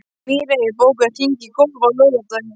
Mírey, bókaðu hring í golf á laugardaginn.